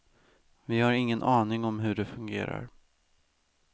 Vi har ingen aning om hur det fungerar.